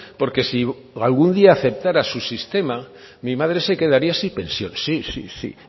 porque si algún día aceptara su sistema mi madre se quedaría sin pensión sí sí sí